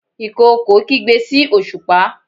ìkookò kigbe sí osupa